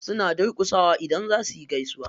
Suna durƙusawa idan za suyi gaisuwa.